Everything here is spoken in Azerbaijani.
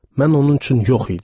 Mən onun üçün yox idim.